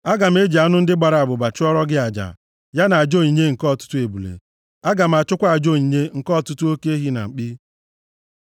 Aga m eji anụ ndị gbara abụba chụọrọ gị aja, ya na aja onyinye nke ọtụtụ ebule; Aga m achụkwa aja onyinye nke ọtụtụ oke ehi na mkpi. Sela